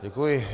Děkuji.